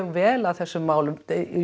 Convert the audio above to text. vel að þessum málum